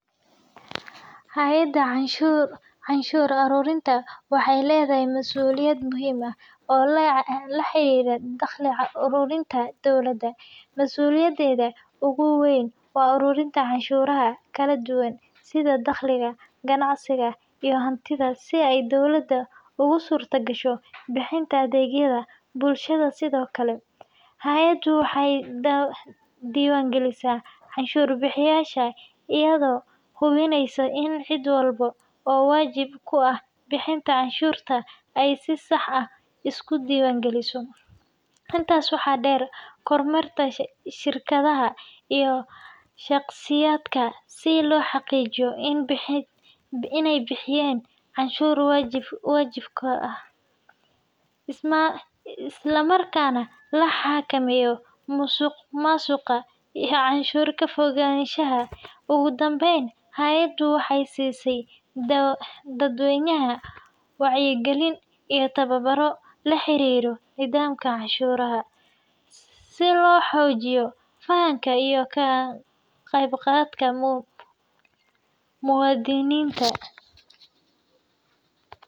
Hay’adda canshuur aruurinta waxay leedahay mas’uuliyado muhiim ah oo la xiriira dakhli ururinta dowladda. Mas’uuliyadeeda ugu weyn waa ururinta canshuuraha kala duwan sida dakhliga, ganacsiga, iyo hantida si ay dowladda ugu suurtagasho bixinta adeegyada bulshada. Sidoo kale, hay’addu waxay diiwaangelisaa canshuur-bixiyeyaasha, iyadoo hubinaysa in cid walba oo waajib ku ah bixinta canshuurta ay si sax ah isu diiwaangeliso. Intaas waxaa dheer, waxay kormeertaa shirkadaha iyo shaqsiyaadka si loo xaqiijiyo in ay bixiyaan canshuurta waajibka ah, islamarkaana la xakameeyo musuqmaasuqa iyo canshuur ka-fogaanshaha. Ugu dambeyn, hay’addu waxay siisaa dadweynaha wacyigelin iyo tababaro la xiriira nidaamka canshuuraha, si loo xoojiyo fahamka iyo ka-qaybgalka muwaadiniinta.